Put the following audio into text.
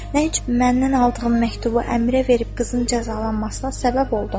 Nə üçün məndən aldığın məktubu Əmirə verib qızın cəzalanmasına səbəb oldun?